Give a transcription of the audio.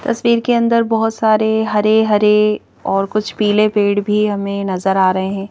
तस्वीर के अंदर बहुत सारे हरे-हरे और कुछ पीले पेड़ भी हमें नजर आ रहे हैं।